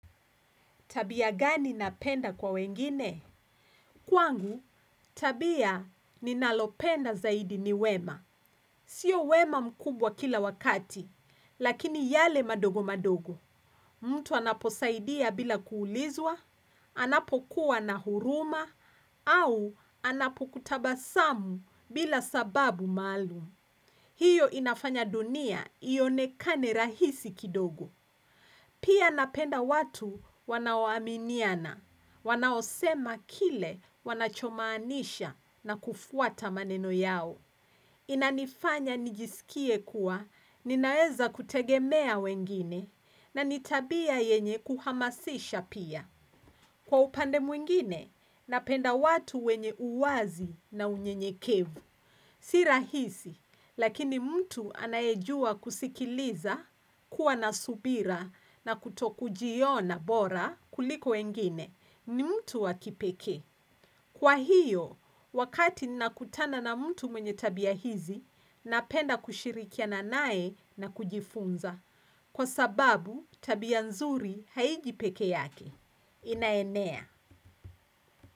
Tabia gani napenda kwa wengine? Kwangu, tabia ni nalopenda zaidi ni wema. Sio wema mkubwa kila wakati, lakini yale madogo madogo. Mtu anaposaidia bila kuulizwa, anapokuwa na huruma, au anapokutabasamu bila sababu maalum. Hiyo inafanya dunia ionekane rahisi kidogo. Pia napenda watu wanaoaminiana, wanaosema kile wanachomaanisha na kufuata maneno yao. Inanifanya nijisikie kuwa, ninaweza kutegemea wengine, na nitabia yenye kuhamasisha pia. Kwa upande mwingine, napenda watu wenye uwazi na unyenyekevu. Si rahisi, lakini mtu anaejua kusikiliza, kuwa nasubira na kuto kujiona bora kuliko wengine ni mtu wakipeke. Kwa hiyo, wakati nina kutana na mtu mwenye tabia hizi, napenda kushirikiana naye na kujifunza. Kwa sababu, tabia nzuri haiji peke yake. Inaenea.